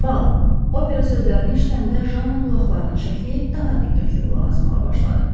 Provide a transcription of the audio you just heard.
Bal, opera sözlərini eşidəndə Janna qulaqlarını şəkləyib daha diqqətli qulaq asmağa başladı.